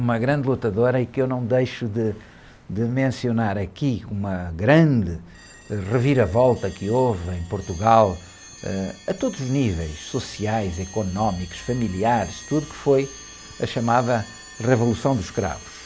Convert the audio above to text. uma grande lutadora e que eu não deixo de, de mencionar aqui, uma grande, ãh, reviravolta que houve em Portugal, ãh, a todos os níveis, sociais, económicos, familiares, tudo, que foi a chamada Revolução dos Cravos.